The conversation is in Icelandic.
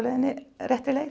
réttri leið